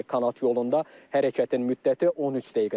Kanat yolunda hərəkətin müddəti 13 dəqiqədir.